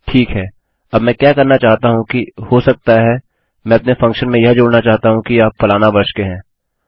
ठीक है अब मैं क्या करना चाहता हूँ कि हो सकता है मैं अपने फंक्शन में यह जोड़ना चाहता हूँ कि आप फलाना वर्ष के हैं